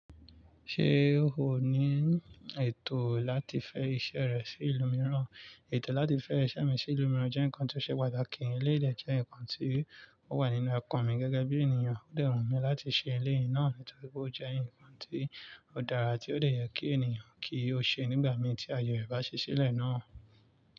Ṣé o ní ètò láti fẹ iṣẹ́ rẹ sí ìlú mìíràn? Ètò láti fẹ iṣẹ́ mi sí ìlú mìíràn jẹ́ nǹkan tí ó ṣe pàtàkì. Eleyii de jẹ́ nǹkan tí ó wà nínú ekan mi gẹ́gẹ́ bí ènìyàn. Ó dẹ wùn mi láti ṣe elé ì náà nítorí pé ó jẹ́ ǹkan tí ó dára tí ó dè yẹ kí ènìyàn kí ó ṣe nígbà mìí tí aye ẹ̀ bá ṣi sílẹ̀ náà.